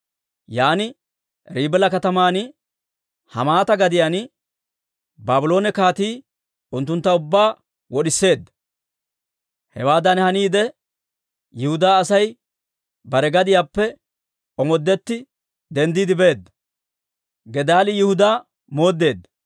Yan Ribila kataman, Hamaata gadiyaan Baabloone kaatii unttuntta ubbaa wod'iseedda. Hewaadan haniide, Yihudaa Asay bare gadiyaappe omoodetti denddiide beedda.